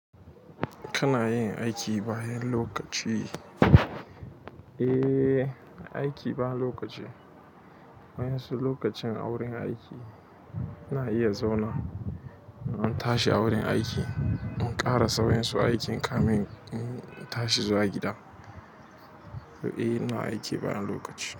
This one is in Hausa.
Kana yin aiki bayan lokaci? Eh, aiki ba lokaci. Bayan su lokacin awurin aiki ina iya zauna, in an tashi a wurin aiki, in ƙara sauran su aikin kamin in tashi zuwa gida. To eh, ina aiki bayan lokaci.